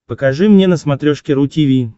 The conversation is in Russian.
покажи мне на смотрешке ру ти ви